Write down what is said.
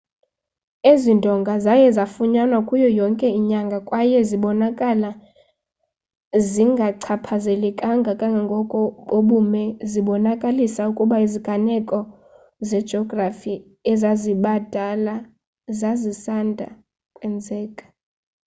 ezi ndonga zaye zafunyanwa kuyo yonke inyanga kwaye zibonakala zingachaphazelekanga kangako bubume zibonakalisa ukuba iziganeko zejografi ezazibadala zazisanda kwenzeka